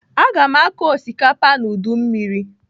Aga m akọ osikapa n'udumiri..